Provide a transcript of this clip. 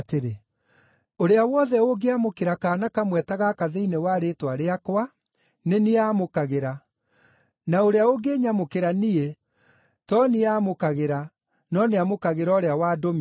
“Ũrĩa wothe ũngĩamũkĩra kaana kamwe ta gaka thĩinĩ wa rĩĩtwa rĩakwa, nĩ niĩ aamũkagĩra; na ũrĩa ũngĩnyamũkĩra niĩ to niĩ aamũkagĩra, no nĩamũkagĩra ũrĩa wandũmire.”